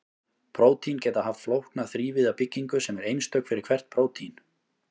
prótín geta haft flókna þrívíða byggingu sem er einstök fyrir hvert prótín